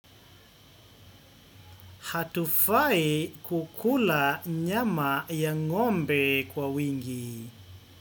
Hatufai kukula nyama ya ng'ombe kwa wingi.